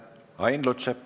Ain Lutsepp.